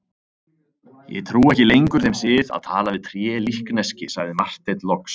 Ég trúi ekki lengur þeim sið að tala við trélíkneski, sagði Marteinn loks.